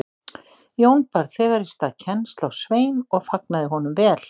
Jón bar þegar í stað kennsl á Svein og fagnaði honum vel.